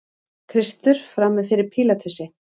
Kristur frammi fyrir Pílatusi.